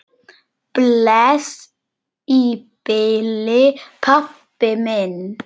Bless í bili, pabbi minn.